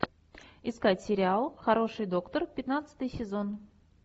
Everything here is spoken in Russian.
искать сериал хороший доктор пятнадцатый сезон